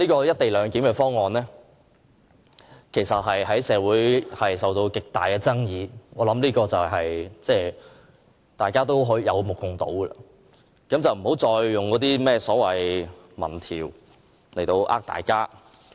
"一地兩檢"方案其實在社會引起極大爭議，我相信這已是有目共睹，不要再以那些甚麼民調欺騙大家。